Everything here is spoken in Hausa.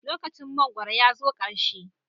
Lokacin mangwaro ya zo ƙarshe.